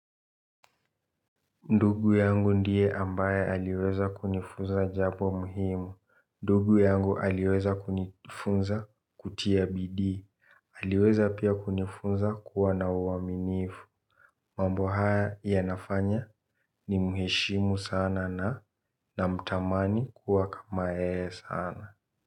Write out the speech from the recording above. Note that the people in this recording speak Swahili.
Ndugu yangu ndiye ambaye aliweza kunifunza jambo muhimu. Ndugu yangu aliweza kunifunza kutia bidii. Aliweza pia kunifunza kuwa na uwaminifu. Mambo haya ya nafanya ni muheshimu sana na na mtamani kuwa kama yeye sana.